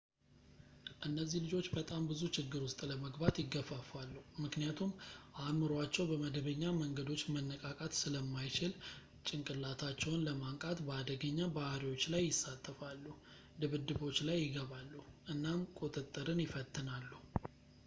እነዚህ ልጆች በጣም ብዙ ችግር ውስጥ ለመግባት ይገፋፋሉ ምክንያቱም አይምሮአቸው በመደበኛ መንገዶች መነቃቃት ስለማይችል፣ ጭንቅላታቸውን ለማንቃት በአደገኛ ባሕሪዎች ላይ ይሳተፋሉ፣ ድብድቦች ላይ ይገባሉ፣ እናም ቁጥጥርን ይፈትናሉ”